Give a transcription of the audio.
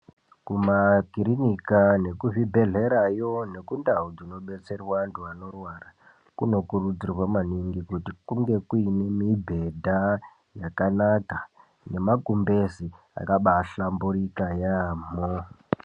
Kumakirinika nekuzvibhedhlerayo nekundau dzinobetserwa antu anorwara, kunokurudzirwa maningi kuti kunge kuyine mibhedha yakanaka nemakumbezi akabaa hlamburika yambo.